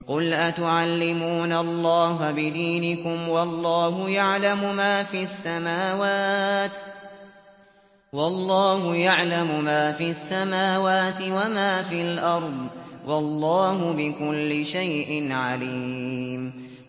قُلْ أَتُعَلِّمُونَ اللَّهَ بِدِينِكُمْ وَاللَّهُ يَعْلَمُ مَا فِي السَّمَاوَاتِ وَمَا فِي الْأَرْضِ ۚ وَاللَّهُ بِكُلِّ شَيْءٍ عَلِيمٌ